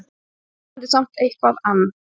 Vonandi samt eitthvað ann